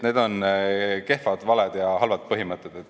Need on kehvad valed ja halvad põhimõtted.